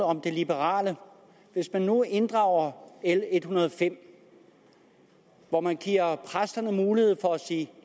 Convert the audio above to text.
om det liberale hvis man nu inddrager l en hundrede og fem hvor man giver præsterne mulighed for at sige